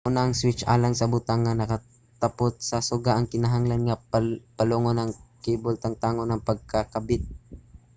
una ang switch alang sa butang nga nakatapot sa suga nagkinahanglan nga palungon o ang kable tangtangon ang pagkakabit